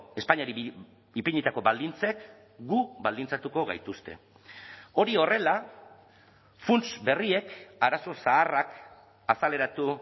espainiari ipinitako baldintzek gu baldintzatuko gaituzte hori horrela funts berriek arazo zaharrak azaleratu